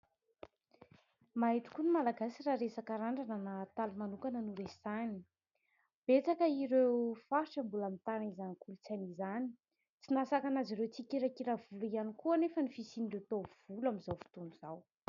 Mahay tokoa ny Malagasy raha resaka randrana na hataly manokana noresahina, betsaka ireo faritra mbola mitana izany kolotsainy izany ; tsy nahasakana azy ireo tsy hikirakira volo ihany koa anefa ny fisian'ireo taovolo amin'izao fotoana izao.